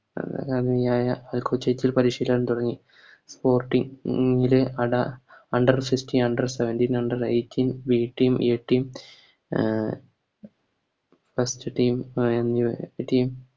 അഹ് അൽക്കോചേറ്റിൽ പരിശീലനം തുടങ്ങി Sporting ല് അട Under sixteen under seventeen under eighteen First team